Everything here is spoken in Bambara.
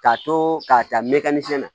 K'a to k'a ta mɛkɛn siɲɛ na